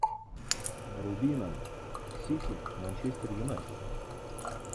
вруби нам сити манчестер юнайтед